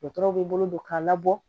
Dɔgɔtɔrɔw bɛ bolo don k'a labɔ